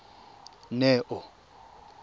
neo